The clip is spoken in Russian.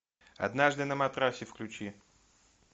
однажды на матрасе включи